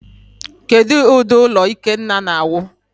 Kedu ụdị ụlọ Ikenna na-awụ?